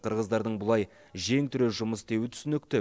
қырғыздардың бұлай жең түре жұмыс істеуі түсінікті